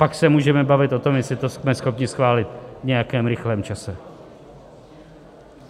Pak se můžeme bavit o tom, jestli to jsme schopni schválit v nějakém rychlém čase.